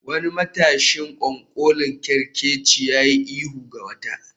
Wani matashin ƙwanƙolin kerkeci ya yi ihu ga wata